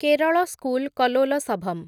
Kerala school Kalolsavam